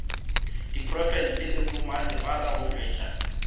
diprofense le bommasepala go tšwetša